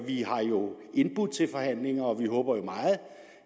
vi har jo indbudt til forhandlinger og vi håber meget